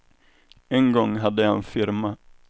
En gång hade jag en firma.